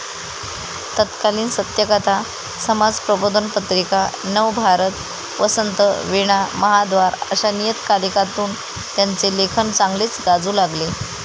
तत्कालीन सत्यकथा, समाजप्रबोधन पत्रिका, नवभारत, वसंत, वीणा, महाद्वार आशा नियतकलीकांतून त्यांचे लेखन चांगलेच गाजू लागले.